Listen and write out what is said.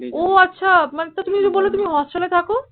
ও আছা মানে তুমি যে বললে তুমি hostel এ থাকো